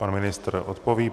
Pan ministr odpoví.